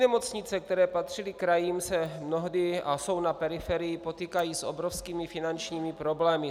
Nemocnice, které patřily krajům, se mnohdy - a jsou na periferii, potýkají s obrovskými finančními problémy.